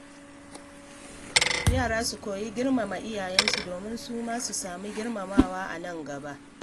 Yara su koyi girmama iyayensu domin su ma su sami girmamawa a nan gaba.